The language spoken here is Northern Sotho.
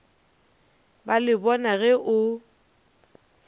ba le bona ge o